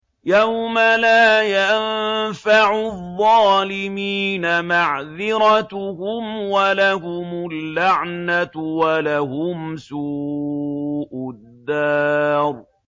يَوْمَ لَا يَنفَعُ الظَّالِمِينَ مَعْذِرَتُهُمْ ۖ وَلَهُمُ اللَّعْنَةُ وَلَهُمْ سُوءُ الدَّارِ